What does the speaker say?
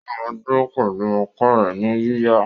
ó máa dúró pẹ̀lú apá rẹ̀ ní yíyà.